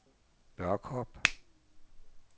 Børkop